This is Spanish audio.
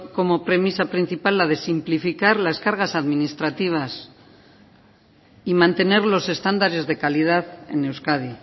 como premisa principal la de simplificar las cargas administrativas y mantener los estándares de calidad en euskadi